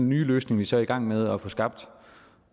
nye løsning vi så er i gang med at få skabt